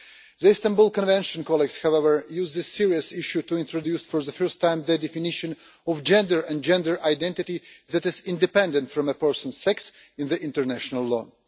The Istanbul Convention colleagues, however, used this serious issue to introduce for the first time the definition of gender and gender identity that is independent from a person's sex in the international law.